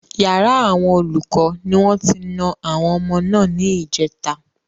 Yàrá àwọn olùkọ́ ni wọ́n ti na àwọn ọmọ náà ní ìjèta